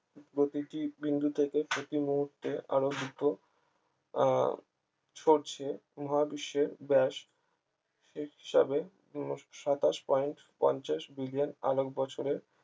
প্রতিটি বিন্দু থেকে প্রতিমুহূর্তে আরো দ্রুত আহ ছড়ছে মহাবিশ্বের ব্যাস হিসাবে কোন সাতাশ point পঞ্চাশ বিলিয়ন আলোর বৎসরে